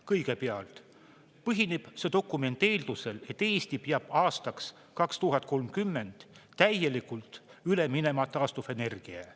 Kõigepealt põhineb see dokument eeldusel, et Eesti peab aastaks 2030 täielikult üle minema taastuvenergiale.